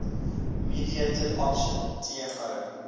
mediated option tmo